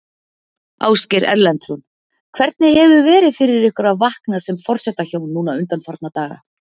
Ásgeir Erlendsson: Hvernig hefur verið fyrir ykkur að vakna sem forsetahjón núna undanfarna daga?